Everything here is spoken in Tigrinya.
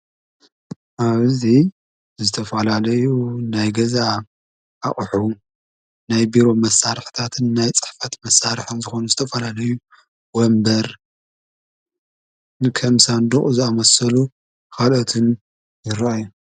ኣብዙ ዘተፍላለዩ ናይ ገዛ ኣቕሑ ናይ ቢሮ መሣርሕታትን ናይ ጽሕፈት መሣርሐን ዝኾኑኑ ዝተፈላለዩ ወንበር ንከምሳንድቕ ዝኣመሰሉ ኻልኦትን ይረአይ።